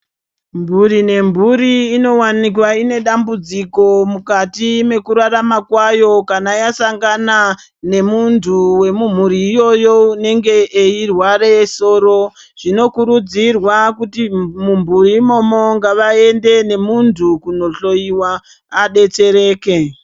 Mburi ne mburi ino onowanikwa ine dambudziko mukati mweku rarama kwayo kana yasangana ne muntu we mu mhuri iyoyo unenge eyi rwara soro zvino kurudzirwa kuti mu mburi imomo ngava ende ne muntu kuno hloyiwa adetsereke.